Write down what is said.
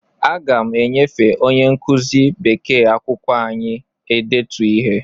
Aga m enyefe onye nkụzi bekee akwụkwọ anyị e detu ihe.